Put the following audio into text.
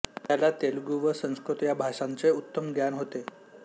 त्याला तेलुगू व संस्कृत या भाषांचे उत्तम ज्ञान होते